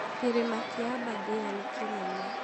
Kĩrĩma kĩa Aberdare nĩ kĩnene